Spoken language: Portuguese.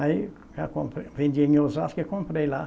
Aí, já compre, vendi em Osasco e comprei lá.